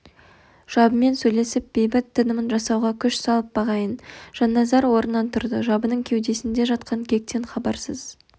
жабымен сөйлесіп бейбіт тынымын жасауға күш салып бағайын жанназар орнынан тұрды жабының кеудесінде жатқан кектен хабарсыз